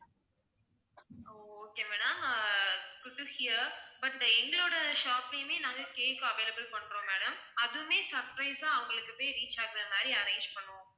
O okay madam ah good to hear but எங்களோட shop லயுமே நாங்க cake available பண்றோம் madam அதுவுமே surprise ஆ அவங்களுக்கு போய் reach ஆகுற மாதிரி arrange பண்ணுவோம்